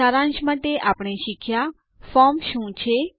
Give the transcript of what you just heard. સારાંશ માટે આપણે શીખ્યા ફોર્મ શું છે